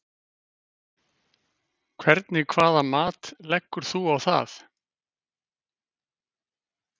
Hvernig hvaða mat leggur þú á það?